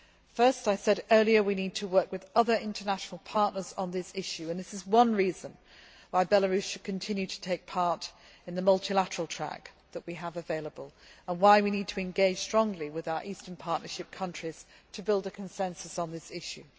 Firstly, I said earlier that we need to work with other international partners on this issue and that is one reason why Belarus should continue to participate in the multilateral track that we have available, and why we need to engage strongly with our Eastern Partnership countries to build a consensus on this issue.